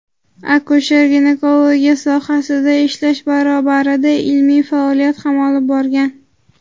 akusher-ginekologiya sohasida ishlash barobarida ilmiy faoliyat ham olib borgan.